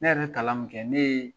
Ne yɛrɛ ye kalan min kɛ, ne ye